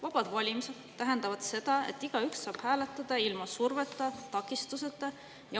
Vabad valimised tähendavad seda, et igaüks saab hääletada ilma surveta ja takistuseta.